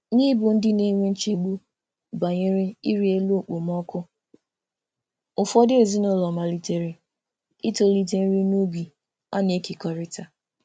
N'ịbụ ndị na-enwe nchegbu banyere ịrị elu okpomọkụ, ụfọdụ ezinụlọ malitere itolite nri n'ubi a na-ekekọrịta.